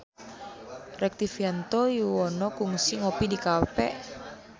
Rektivianto Yoewono kungsi ngopi di cafe